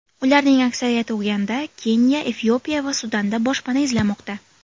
Ularning aksariyati Uganda, Keniya, Efiopiya va Sudanda boshpana izlamoqda.